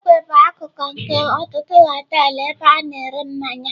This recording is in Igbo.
Ogwe bụ akụkụ nke ọtụtụ họteelụ ebe a na-ere mmanya.